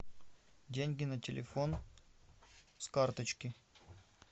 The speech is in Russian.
деньги на телефон с карточки